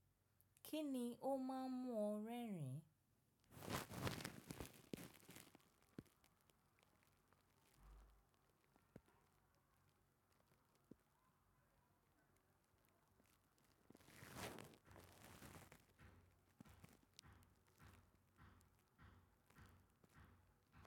Kíni ó máa ń mú ọ rẹ́rìn-ín?